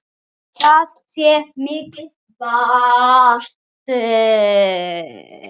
Það sé mikið vald.